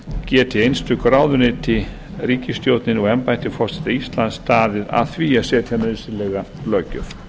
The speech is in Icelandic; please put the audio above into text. geti einstök ráðuneyti ríkisstjórnin og embætti forseta íslands staðið að því að setja nauðsynlega löggjöf